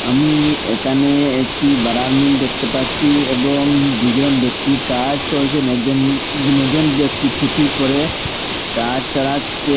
আমি একানে একটি বারার মিল দেকতে পাচ্চি এবং দুজন ব্যক্তি কাজ করছেন একজন দুনজন ব্যক্তি টুপি পরে কাজ চারাচ্চে।